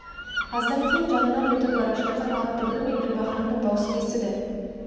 аздан кейін жанынан өтіп бара жатқан ат дүбірі мен гүлбаһрамның даусын естіді